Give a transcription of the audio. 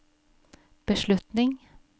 beslutning